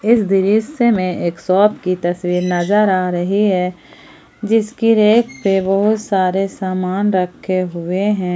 इस दृश्य में एक शॉप की तस्वीर नजर आ रही है जिसकी रैक पे बहुत सारे सामान रखे हुए हैं ।